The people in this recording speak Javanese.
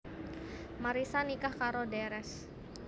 Marissa nikah karo Drs